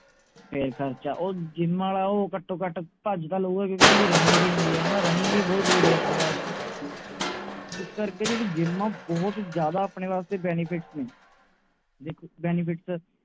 ਫੇਰ ਖਰਚਾ ਉਹ gym ਆਲਾ ਉਹ ਘਟੋ ਘਟ ਭੱਜ ਤਾਂ ਲਊਗਾ ਕਿਓਂਕਿ ਓਹਨਾ ਦੀ running ਵੀ ਹੁੰਦੀ ਹੈ ਹਣਾ running ਵੀ ਬਹੁਤ ਜਰੂਰੀ ਹੈ ਆਪਣੇ ਵਾਸਤੇ ਇਸ ਕਰਕੇ ਜਿਹੜੀ gym ਆ ਬਹੁਤ ਜਿਆਦਾ ਆਪਣੇ ਵਾਸਤੇ benefits ਨੇ ਦੇਖੋ benefits